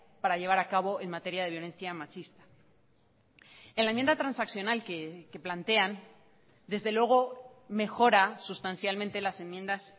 para llevar a cabo en materia de violencia machista en la enmienda transaccional que plantean desde luego mejora sustancialmente las enmiendas